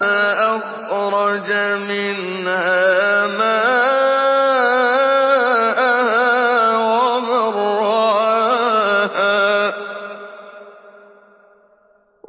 أَخْرَجَ مِنْهَا مَاءَهَا وَمَرْعَاهَا